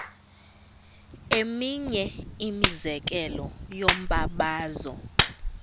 eminye imizekelo yombabazo